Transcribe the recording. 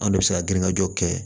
An de bɛ se ka girin ŋajɔ kɛ